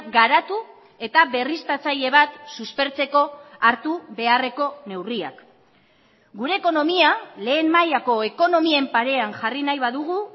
garatu eta berriztatzaile bat suspertzeko hartu beharreko neurriak gure ekonomia lehen mailako ekonomien parean jarri nahi badugu